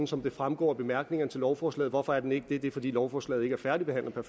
som det fremgår af bemærkningerne til lovforslaget hvorfor er den ikke det det er fordi lovforslaget ikke er færdigbehandlet per